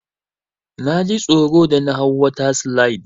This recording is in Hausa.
Naji tsoro da na hau water slide.